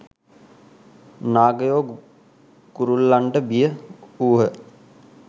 නාගයෝ ගුරුල්ලන්ට බිය වූහ.